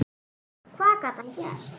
Hvað gat hann gert?